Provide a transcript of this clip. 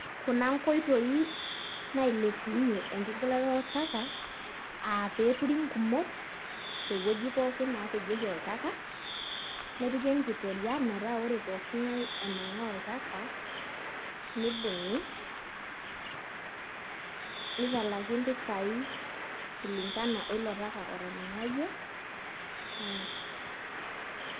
Kuna nkoitoi nailepunyie enkigilata oltaka aa pee eturi nkumot tewuoji pookin napejieki oltaka nepiki enkitoria metaa ore pooki ng'ae onang'aa oltaka nibung'i nitalaki mpisaai kulingana oilo taka otanang'ayie.